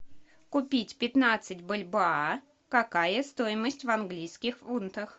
купить пятнадцать бальбоа какая стоимость в английских фунтах